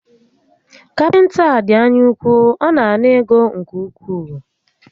Kapịnta a dị anya úkwú, ọ na ana ego nke ukwuu